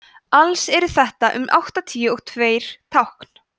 alls eru þetta um áttatíu og tveir tákn